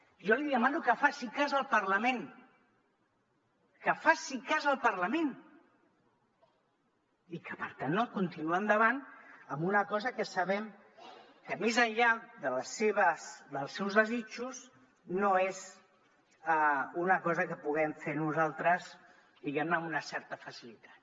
jo li demano que faci cas del parlament que faci cas del parlament i que per tant no continuï endavant amb una cosa que sabem que més enllà dels seus desitjos no és una cosa que puguem fer nosaltres diguem ne amb una certa facilitat